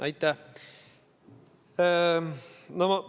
Aitäh!